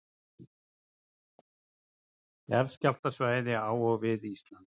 Jarðskjálftasvæði á og við Ísland.